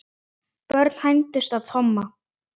Börn hændust að Tomma.